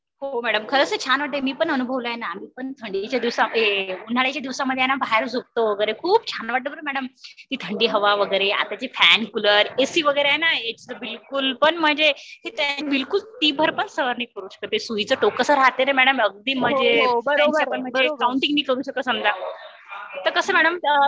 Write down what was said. हो मॅडम, ते खरंच खूप छान वाटते. मी पण अनुभवल आहे ना. उन्हाळाच्या दिवसांध्ये ना बाहेर झोपतो वैगेरे खूप छान वाटते ना मॅडम ती थंडी हवा वगैरे आताचे फॅन कुलर एसी वगैरे आहे ना याचा बिलकुल पण म्हणजे मी तर पण सहन नाही करू शकत तेसुईचा टोक जस राहते ना मॅडम तस काउंटींग मी करू शकते नाही बघा. ते कस